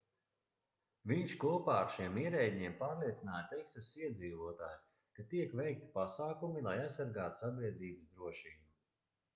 viņš kopā ar šiem ierēdņiem pārliecināja teksasas iedzīvotājus ka tiek veikti pasākumi lai aizsargātu sabiedrības drošību